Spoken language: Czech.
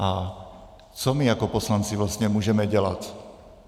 A co my jako poslanci vlastně můžeme dělat?